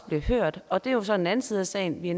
bliver hørt og det er så den anden side af sagen vi